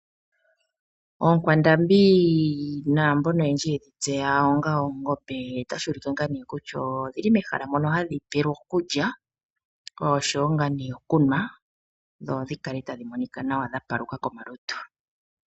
Oonkwandambi naambono oyendji yedhi tseya onga oongombe otashi ulike naana kutya odhili mehala mono hadhi pelwa okulya oshowo ngaa nee okunwa dho dhikale tadhi monika nawa dha paluka komalutu.